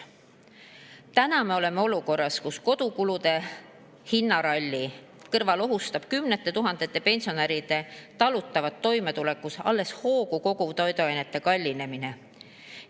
Täna me oleme olukorras, kus kodukulude hinnaralli kõrval ohustab kümnete tuhandete pensionäride talutavat toimetulekut alles hoogu koguv toiduainete kallinemine.